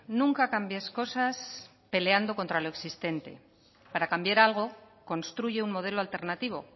nunca cambies cosas peleando contra lo existente para cambiar algo construye un modelo alternativo